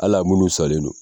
Al'a minnu salen don.